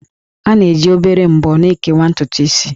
A na-eji obere ḿbọ́ na-ekewa ntutu isi